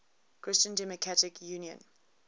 christian democratic union